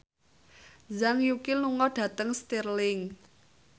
Zhang Yuqi lunga dhateng Stirling